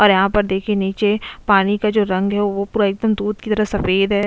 और यहां पर देखिए नीचे पानी का जो रंग है वो पूरा एकदम दूध की तरह सफेद है।